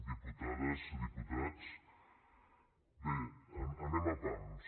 diputades diputats bé anem a pams